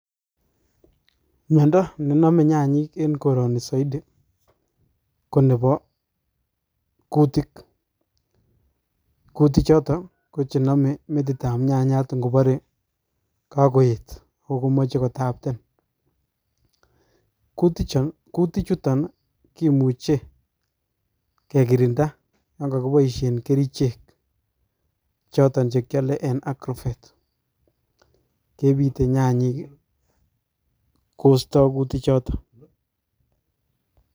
Miondo nenome nyanyik en koroni soiti kobebo kutik, kutichoto ko chenome metitab nyanyat ing'obore kokoet kokomoje kotabten, kutichuton kimuche kekirinda yaan kokiboishen kerichek choton chekiole en agrovet kebite nyanyik kosto kutichoton.